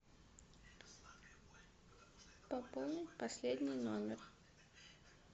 пополнить последний номер